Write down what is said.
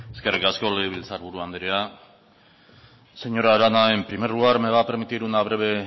eskerrik asko legebiltzarburu andrea señora arana en primer lugar me va permitir una breve